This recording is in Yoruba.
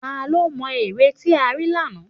Tá ló mo ère tí a rí lánàá?